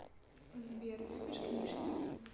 сбер любишь книжки